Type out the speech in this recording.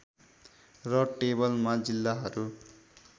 र टेबलमा जिल्लाहरू